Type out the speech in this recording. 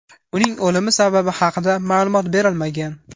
Uning o‘limi sababi haqida ma’lumot berilmagan.